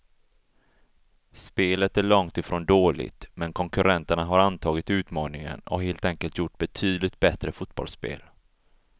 Spelet är långt ifrån dåligt, men konkurrenterna har antagit utmaningen och helt enkelt gjort betydligt bättre fotbollsspel.